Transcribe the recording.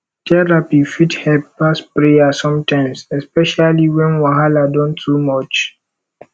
therapy fit help pass prayer sometimes especially wen wahala don too much